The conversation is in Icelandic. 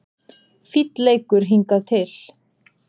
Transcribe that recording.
Fínn leikur hingað til